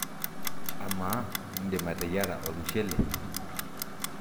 amaa indim ateyiara olmushele?